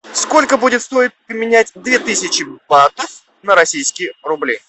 сколько будет стоить поменять две тысячи батов на российские рубли